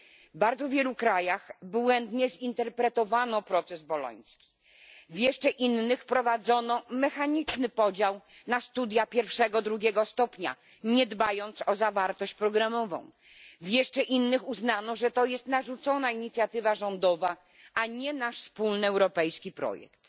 W bardzo wielu krajach błędnie zinterpretowano proces boloński, w jeszcze innych wprowadzono mechaniczny podział na studia pierwszego i drugiego stopnia, nie dbając o zawartość programową, w jeszcze innych uznano, że to jest narzucona inicjatywa rządowa, a nie nasz wspólny europejski projekt.